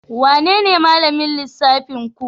Wanene malamin lissafinku?